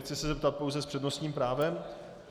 Chci se zeptat - pouze s přednostním právem?